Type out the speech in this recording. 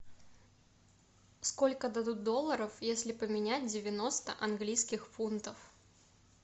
сколько дадут долларов если поменять девяносто английских фунтов